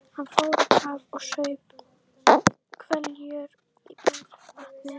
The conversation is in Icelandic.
Hann fór á kaf og saup hveljur í bergvatninu.